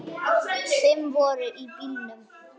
Fimm voru í bílnum.